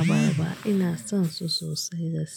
abarba. Ina son su sosai gaskiya.